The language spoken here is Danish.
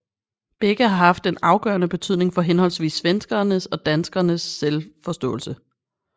Begge har haft en afgørende betydning for henholdsvis svenskeres og danskers selvforståelse